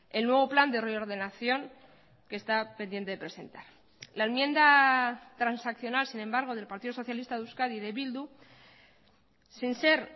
el nuevo plan de reordenación que está pendiente de presentar la enmienda transaccional sin embargo del partido socialista de euskadi y de bildu sin ser